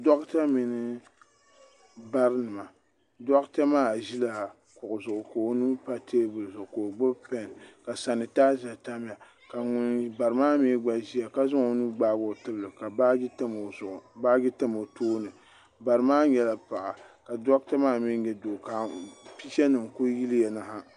Doɣata mini barinima doɣata maa ʒila kuɣu zuɣu ka o nuu pa teebuli zuɣu ka o gbibi pen ka sanitaaza tamya ka bara maa gba ʒia ka zaŋ o nuu gbaagi o tibli ka baaji tam o tooni bara maa nyɛla paɣa doɣata maa mee nyɛ doo ka picha nima kuli yiliya na ha.